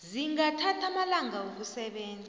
zingathatha amalanga wokusebenza